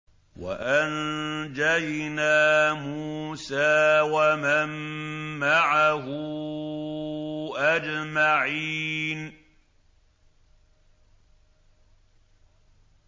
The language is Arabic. وَأَنجَيْنَا مُوسَىٰ وَمَن مَّعَهُ أَجْمَعِينَ